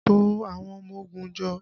To àwọn ọmọ ogun jọ!